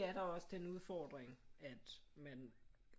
Er der også den udfordring at man